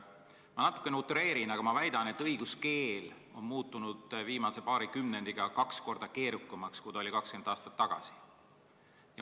Ma natuke utreerin, aga ma väidan, et õiguskeel on viimase paari kümnendiga muutunud kaks korda keerukamaks, kui ta oli 20 aastat tagasi.